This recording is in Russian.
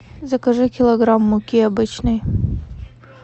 закажи килограмм муки обычной